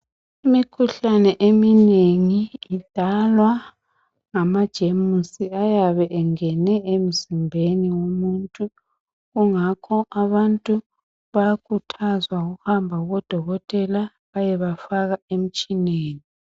Imikhuhlane eminengi idalwa ngamagenus ayabe engene emzimbeni womuntu kungakho abantu bayakhuthazwa ukuhamba kubodokotela bayebafaka emtshineni.